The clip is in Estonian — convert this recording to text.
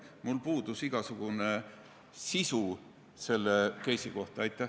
Mul puudus igasugune sisu, mis puudutas seda case'i.